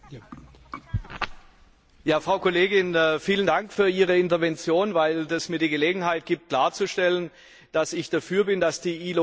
Frau Kollegin, vielen Dank für Ihre Intervention, weil dies mir die Gelegenheit gibt, klarzustellen, dass ich dafür bin, dass die ILO Regeln auch eingehalten werden.